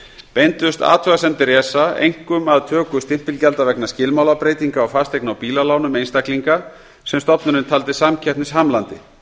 beindust athugasemdir esa einkum að töku stimpilgjalda vegna skilmálabreytinga á fasteigna og bílalánum einstaklinga sem stofnunin taldi samkeppnishamlandi